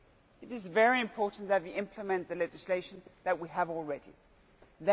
It is very important that we implement the legislation that we already have.